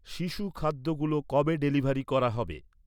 শিশু খাদ্যগুলো কবে ডেলিভারি করা হবে?